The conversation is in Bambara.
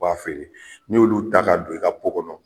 B'a feere, ni y'olu ta ka don i ka kɔnɔ